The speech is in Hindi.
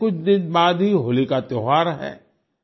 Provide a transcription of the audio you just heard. आज से कुछ दिन बाद ही होली का त्यौहार है